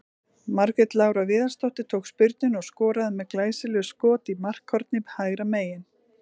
Margrét Lára Viðarsdóttir tók spyrnuna og skoraði með glæsilegu skot í markhornið hægra megin.